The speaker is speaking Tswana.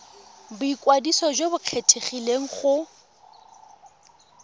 boikwadiso jo bo kgethegileng go